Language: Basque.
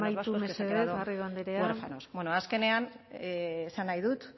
ciudadanos vascos que se han quedado huérfanos amaitu mesedez garrido andrea bueno azkenean esan nahi dut